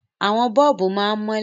Àwọn bọ́ọ̀bù máa ń mọ́lẹ̀.